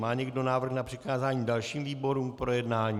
Má někdo návrh na přikázání dalším výborům k projednání?